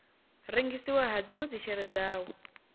rengisiwa ha dzinwe dzishere dzawo